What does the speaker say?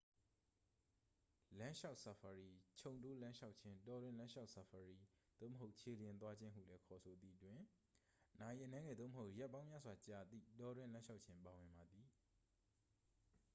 "လမ်းလျှောက်ဆာဖာရီ "ခြုံတိုးလမ်းလျှောက်ခြင်း""၊ "တောတွင်းလမ်းလျှောက်ဆာဖာရီ""၊ သို့မဟုတ် "ခြေလျင်" သွားခြင်းဟုလည်း ခေါ်ဆိုသည် တွင် နာရီအနည်းငယ် သို့မဟုတ် ရက်ပေါင်းများစွာကြာသည့် တောတွင်းလမ်းလျှောက်ခြင်း ပါဝင်ပါသည်။